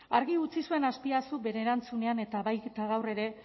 argi utzi zuen azpiazuk bere erantzunean eta baita gaur ere